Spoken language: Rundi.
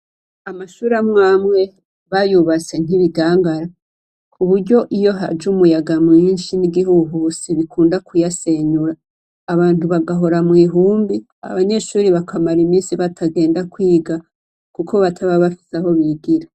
Amashure amwe amwe bayubatse nk'ibigangara, ku buryo iyo haje umuyaga mwinshi w'igihuhusi ukunda kuyasenyura, abantu bagahora mw'ihumbi, abanyeshure bakamara iminsi batagenda kwiga kuko bataba bafise aho bigira.